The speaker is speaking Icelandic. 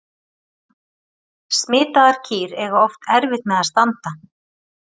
Smitaðar kýr eiga oft erfitt með að standa.